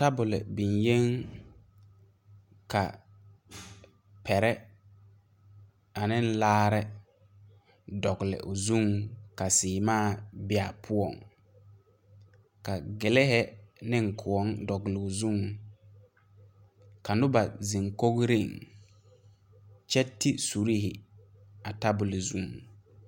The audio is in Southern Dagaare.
Bibiire la be a kyɛ. Die pʋɔ la ka ba be kyɛ ka a die pʋɔ waa sɔglaa lɛ. Ba biŋ la gane ane kaŋdel kyɛ ka neɛ yɛre bone o kɔkɔreŋ kyɛ ziŋ peɛle a de kure teɛ.